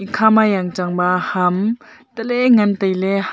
khama yangchangba ham taley ngan tailey ha--